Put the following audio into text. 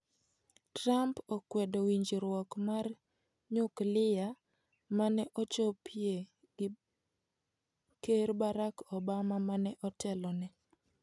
Trump okwedo winjruok mar nyuklia mane ochopie gi ker Barack Obama, mane otelone.